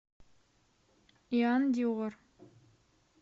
иан диор